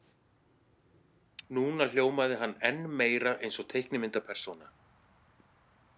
Núna hljómaði hann enn meira eins og teiknimyndapersóna.